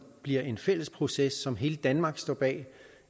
bliver en fælles proces som hele danmark står bag